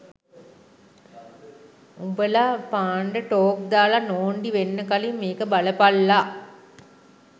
උම්බල පන්ඪ් ටෝක් දාල නෝන්ඩි වෙන්න කලින් මෙක බලපල්ල